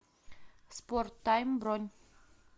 спорттайм бронь